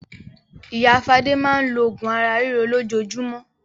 Ìyá Fadé máa ń lo oògùn ara ríro lójoojúmọ́.